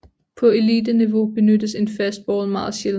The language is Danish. På eliteniveau benyttes en fastball meget sjældent